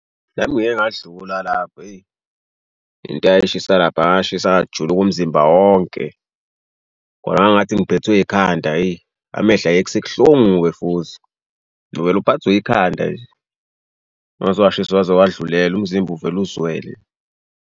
Nami ngiyeke ngadlula lapho eyi into eyayishisa laphaya ngashisa ngajuluka umzimba wonke. Kodwa ngangathi ngiphethwe yikhanda eyi amehlo ayesekuhlungu-ke futhi. Uvele uphathwe yikhanda nje. Waze washisa waze wadlulela umzimba uvele uzwele.